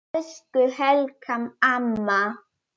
Elsku Helga amma.